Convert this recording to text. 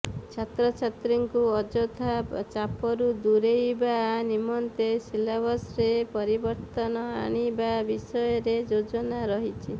ଛାତ୍ରଛାତ୍ରୀଙ୍କୁ ଅଯଥା ଚାପରୁ ଦୂରେଇବା ନିମନ୍ତେ ସିଲାବସ୍ରେ ପରିବର୍ତନ ଆଣିବା ବିଷୟରେ ଯୋଜନା ରହିଛି